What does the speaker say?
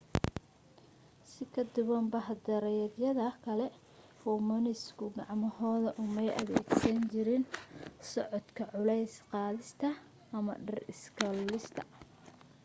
si ka duwan bah-daayeereedyada kale hoomoniidhisku gacmahooda umay adeegsan jirin socodka culays qaadista ama dhir iska lulista